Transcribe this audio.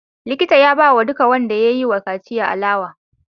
Likita ya bawa duka wanda yayi wa kaciya alewa